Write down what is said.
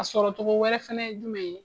O a sɔrɔ cogo wɛrɛ fɛnɛ ye jumɛn ye?